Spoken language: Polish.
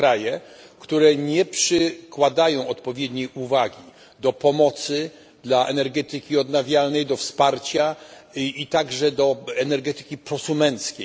są kraje, które nie przykładają odpowiedniej wagi do pomocy dla energetyki odnawialnej, do wsparcia i także do energetyki pro konsumenckiej.